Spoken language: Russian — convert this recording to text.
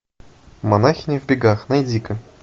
монахини в бегах найди ка